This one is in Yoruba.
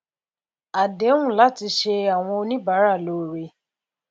àdéhùn láti ṣe àwọn oníbàárà lóore